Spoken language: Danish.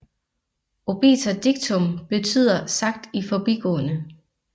Obiter dictum betyder sagt i forbigående